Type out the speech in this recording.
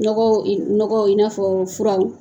Nɔgɔ, nɔgɔ i n'a fɔ furaw